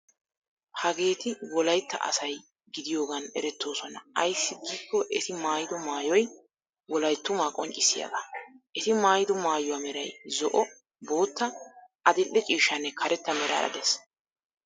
Hageeti wolaytta asay gidiyogan erettoosona ayssi giikko eti maayido maayoy wolayttumaa qonccissiyagaa. Eti maayido maayuwaa meray zo"o, bootta, adil"e ciishshanne karetta meraara de'ees.